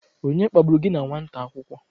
Onye kpagburu gi na nwata akwukwo?